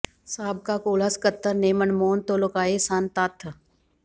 ਸਾਬਕਾ ਕੋਲਾ ਸਕੱਤਰ ਨੇ ਮਨਮੋਹਨ ਤੋਂ ਲੁਕੋਏ ਸਨ ਤੱਥ